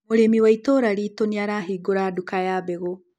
Mũrĩmi wa itũra riitũ nĩarahingũra nduka ya mbegũ